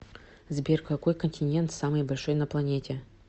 сбер какой континент самый большой на планете